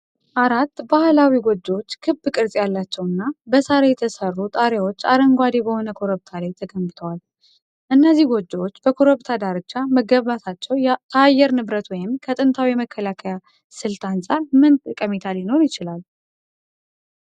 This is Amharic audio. አራት ባህላዊ ጎጆዎች ክብ ቅርጽ ያላቸውና በሳር የተሰሩ ጣሪያዎች አረንጓዴ በሆነ ኮረብታ ላይ ተገንብተዋል። እነዚህ ጎጆዎች በኮረብታ ዳርቻ መገንባታቸው ከአየር ንብረት ወይም ከጥንታዊ የመከላከያ ስልት አንጻር ምን ጠቀሜታ ሊኖረው ይችላል?